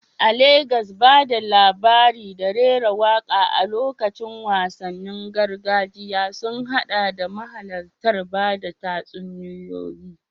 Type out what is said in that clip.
A Legas, ba da labari da rera waƙa a lokacin wasannin gargajiya sun haɗa da mahalartar bada tatsuniyoyi